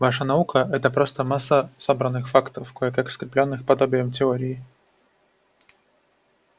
ваша наука это просто масса собранных фактов кое-как скреплённых подобием теории